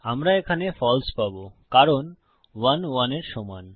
আমরা এখানে ফালসে পাবো কারণ 1 1 এর সমান